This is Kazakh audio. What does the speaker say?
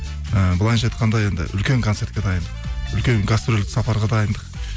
і былайынша айтқанда енді үлкен концертке дайындық үлкен гастрольдік сапарға дайындық